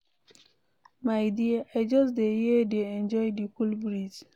My dear, I just dey here dey enjoy the cool breeze.